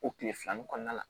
O kile fila nun kɔnɔna la